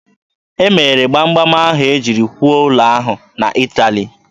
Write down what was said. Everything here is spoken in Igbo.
E mere gbam gbam ahụ e jiri kwụọ ụlọ ahụ na Ịtali.